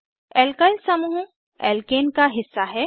alkyl समूह alkane का हिस्सा हैं